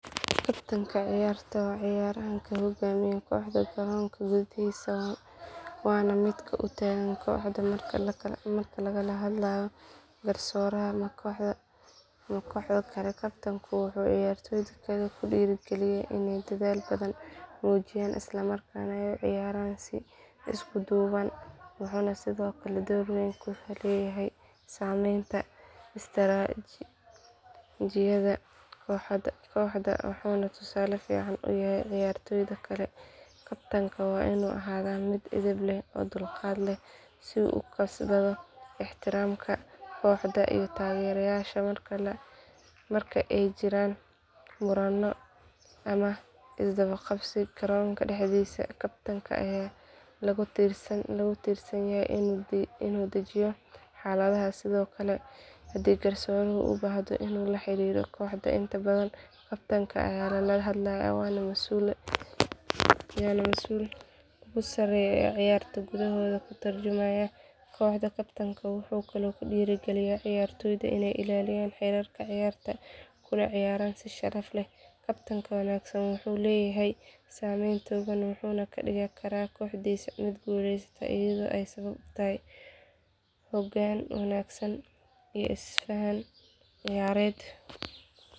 Tartanka ciyarta ciyaran kamiid ayey ku ekeysa waa miid ka miid in la qanciyo kuwa lahadlayo garsoraha ama koxda tartanka wuxuu kudora galiya mujiyan isla markas nah gar ahan si isku duwan samenta wajiyaada koxda wuxuu ciyartoyda kale tartanka ka qadaa miid edheb leh si u ukasbadho ixtiramka koxda iyo tagerayasha marki ee jiran murano ama isdawa qabsi garonka daxdisa kabtenka aya lagu torsan yahay in u dajiya xalaadaha hadii u ubahdo kabtenka aya lala hadlaya wana masul usareya ciyarta koxda kabtenka wuxuu kalo kudira galiya ciyartoyda in ee ilaliyan xirka ciyarta kula ciyaran musharaxda, kabtenka wanagsan wuxuu leyahay samen badan wuxuna kadigi karaa koxdisa miid gulesata ee san ciyareed.